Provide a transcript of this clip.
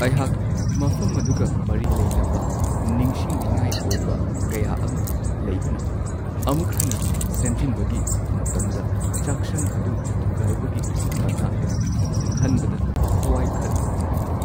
ꯑꯩꯍꯥꯛ ꯃꯐꯝ ꯑꯗꯨꯒ ꯃꯔꯤ ꯂꯩꯅꯕ ꯅꯤꯡꯁꯤꯡꯅꯤꯡꯉꯥꯏ ꯑꯣꯏꯕ ꯀꯌꯥ ꯑꯃ ꯂꯩꯕꯅ, ꯑꯃꯨꯛ ꯍꯟꯅ ꯁꯦꯝꯖꯤꯟꯕꯒꯤ ꯃꯇꯝꯗ ꯆꯥꯛꯁꯪ ꯑꯗꯨ ꯊꯨꯒꯥꯏꯕꯒꯤ ꯃꯇꯥꯡꯗ ꯈꯟꯕꯗ ꯊꯋꯥꯏ ꯈꯔ ꯅꯨꯡꯉꯥꯏꯇꯦ꯫